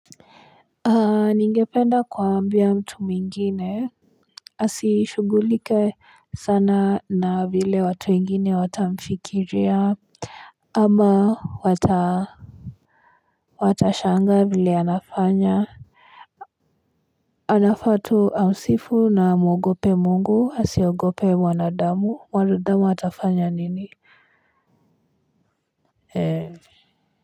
Ningependa kuambia mtu mwingine. Asishugulike sana na vile watu wengine watamfikiria. Ama wata watashanga vile anafanya. Anafatu amsifu na muogope mungu asiogope wanadamu wanudamu atafanya nini. Kwa hivyo.